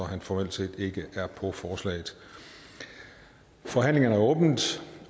han formelt set ikke er på forslaget forhandlingerne er åbnet